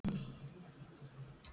Vatnsberinn æpir: Ekkert!